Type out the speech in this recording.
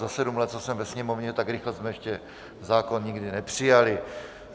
Za sedm let, co jsem ve Sněmovně, tak rychle jsme ještě zákon nikdy nepřijali.